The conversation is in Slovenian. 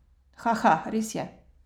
Haha, res je.